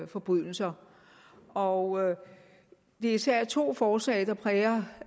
forbrydelser og det er især to forslag der præger